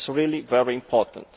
This is really very important.